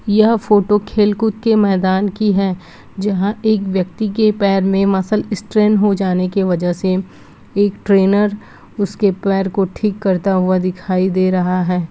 यह फोटो खेल-कूद के मैदान की है जहाँ एक व्यक्ति के पैर में मसल स्ट्रेन हो जाने की वजह से एक ट्रेनर उसके पैर को ठीक करता हुआ दिखाई दे रहा है।